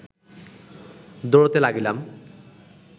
দৌড়াতে লাগিলাম